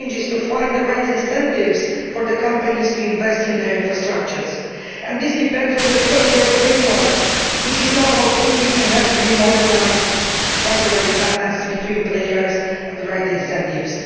The challenge is to find the right incentives for companies to invest in their infrastructure and this depends on the regulatory framework, which is now outdated and has to be modernised to find the right balance between players and the right incentives.